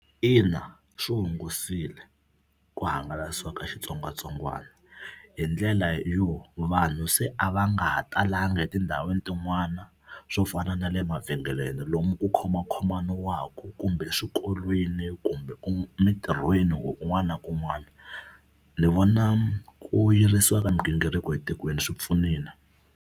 Ina swi hungusile ku hangalasiwa ka xitsongwatsongwana hi ndlela yo vanhu se a va nga ha talanga etindhawini tin'wana swo fana na le mavhengeleni lomu ku khomakhomaniwaka kumbe eswikolweni kumbe mitirhweni or kun'wana na kun'wana. Ni vona ku yirisiwa ka migingiriko etikweni swi pfunile.